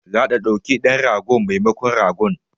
Za ta ɗauki dan ragon memakon ragon